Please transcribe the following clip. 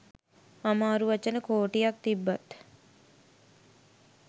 අමාරු වචන කෝටියක් තිබ්බත්